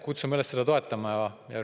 Kutsume üles seda toetama.